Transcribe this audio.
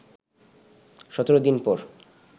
১৭ দিন পর